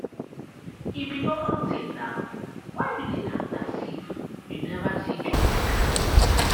e be normal thing na why you dey act as if you never see junkie before.